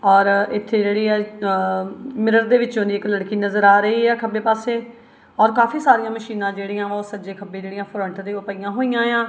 ਔਰ ਇੱਥੇ ਜੇਹੜੀ ਆ ਮਿਰਰ ਦੇ ਵਿਚੋਂ ਦੀ ਇੱਕ ਲੜਕੀ ਨਜ਼ਰ ਆ ਰਹੀ ਹੈ ਖੱਬੇ ਪਾੱਸੇ ਔਰ ਕਾਫੀ ਸਾਰਿਆਂ ਮਸ਼ੀਨਾਂ ਜੇਹੜੀਆਂ ਵਾਂ ਓਹ ਸੱਜੇ ਖੱਬੇ ਜੇਹੜੀਆਂ ਫਰੰਟ ਤੇ ਓਹ ਪਈਆਂ ਹੋਇਆਂ ਯਾਂ।